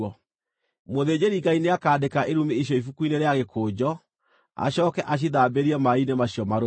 “ ‘Mũthĩnjĩri-Ngai nĩakandĩka irumi icio ibuku-inĩ rĩa gĩkũnjo, acooke acithambĩrie maaĩ-inĩ macio marũrũ.